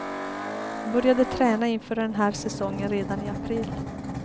Började träna inför den här säsongen redan i april.